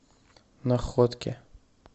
находке